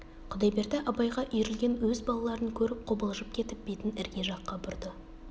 құдайберді абайға үйрілген өз балаларын көріп қобалжып кетіп бетін ірге жаққа бұрды